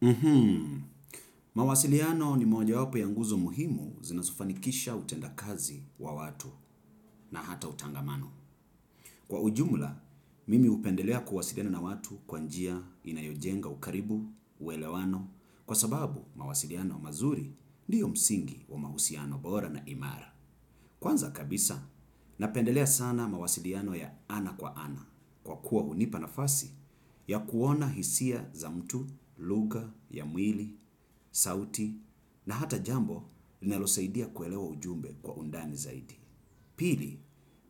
Mhmm, mawasiliano ni moja wapo ya nguzo muhimu zinazofanikisha utenda kazi wa watu na hata utangamano. Kwa ujumla, mimi hupendelea kuwasiliana na watu kwa njia inayojenga ukaribu, uelewano, kwa sababu mawasiliano mazuri ndiyo msingi wa mahusiano bora na imara. Kwanza kabisa, napendelea sana mawasiliano ya ana kwa ana, kwa kuwa hunipa nafasi ya kuona hisia za mtu, lugha ya mwili, sauti, na hata jambo linalosaidia kuelewa ujumbe kwa undani zaidi. Pili,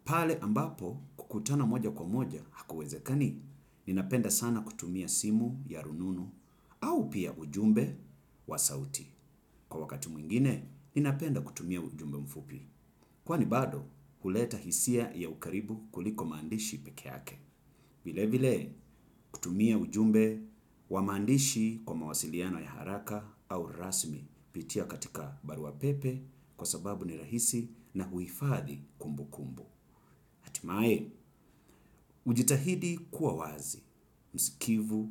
pale ambapo kukutana moja kwa moja hakuwezekani, ninapenda sana kutumia simu ya rununu au pia ujumbe wa sauti. Kwa wakati mwingine, ninapenda kutumia ujumbe mfupi. Kwani bado, huleta hisia ya ukaribu kuliko maandishi peke yake. Vile vile, kutumia ujumbe wa maandishi kwa mawasiliano ya haraka au rasmi, kupitia katika barua pepe, kwa sababu ni rahisi na huhifadhi kumbukumbu. Hatimaye, hujitahidi kuwa wazi, msikivu,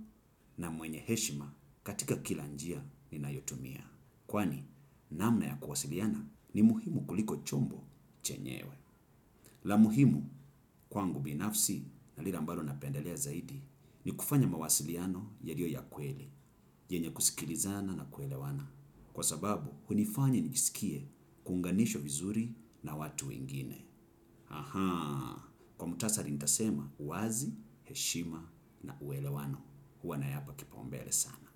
na mwenye heshima katika kila njia ninayotumia. Kwani, namna ya kuwasiliana ni muhimu kuliko chombo chenyewe. La muhimu kwangu binafsi, na lile ambalo napendelea zaidi, ni kufanya mawasiliano yaliyo ya kweli, yenye kusikilizana na kuelewana. Kwa sababu, hunifanya nijisikie kunganishwa vizuri na watu ingine. Ahaa, kwa muhtasari nitasema: wazi, heshima, na uelewano. Huwa nayapa kipaumbele sana.